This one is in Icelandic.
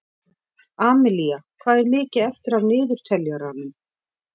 Amilía, hvað er mikið eftir af niðurteljaranum?